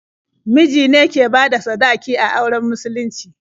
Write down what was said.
Miji ne ke bada sadaki a auren musulunci.